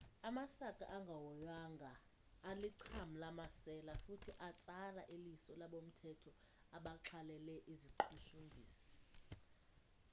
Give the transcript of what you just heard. amasaka angahoywanga alicham lamasela futhi atsala iliso labomthetho abaxhalele iziqhushumbhisi